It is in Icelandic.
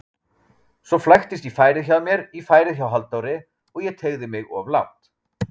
Svo flæktist færið hjá mér í færið hjá Halldóri og ég teygði mig of langt.